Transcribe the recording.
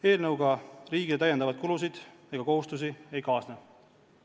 Eelnõuga riigile täiendavaid kulusid ega kohustusi ei kaasne.